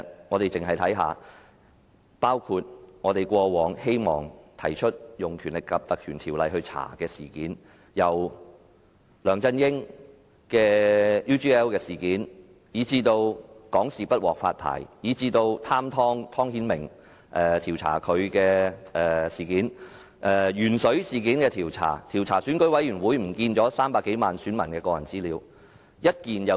過往我們希望引用《條例》調查的事件包括梁振英的 UGL 事件；香港電視網絡有限公司不獲發牌；調查"貪湯"湯顯明事件；調查鉛水事件；以及調查選舉事務處遺失300多萬名選民的個人資料事件。